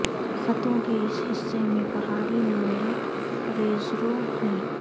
خطوں کے اس حصے میں پہاڑی نوعیت ریزرو ہے